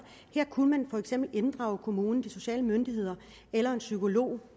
her kunne man for eksempel inddrage kommunen de sociale myndigheder eller en psykolog